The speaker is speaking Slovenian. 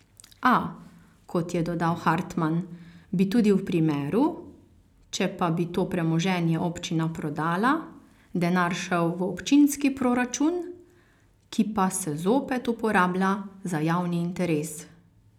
A, kot je dodal Hartman, bi tudi v primeru, če pa bi to premoženje občina prodala, denar šel v občinski proračun, ki pa se zopet uporablja za javni interes.